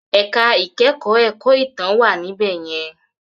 Ẹ̀ka ìkẹ́kọ̀ọ́ ẹ̀kọ́ ìtàn wà níbẹ̀ yẹn.